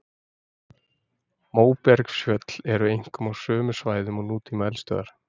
Móbergsfjöll eru einkum á sömu svæðum og nútíma eldstöðvar.